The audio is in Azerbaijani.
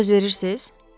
Söz verirsiz?